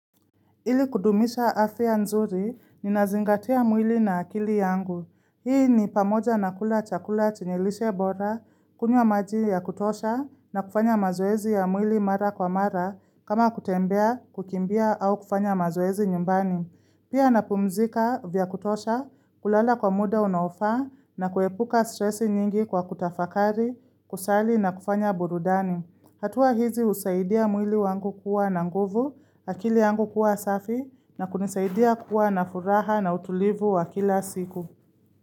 Ili kudumisha afya nzuri, ni nazingatia mwili na akili yangu. Hii ni pamoja na kula chakula chenye lishe bora, kunywa maji ya kutosha, na kufanya mazoezi ya mwili mara kwa mara, kama kutembea, kukimbia, au kufanya mazoezi nyumbani. Pia na pumzika vya kutosha, kulala kwa muda unaofaa, na kuepuka stressi nyingi kwa kutafakari, kusali na kufanya burudani. Hatua hizi usaidia mwili wangu kuwa na nguvu, akili yangu kuwa safi na kunisaidia kuwa na furaha na utulivu wa kila siku.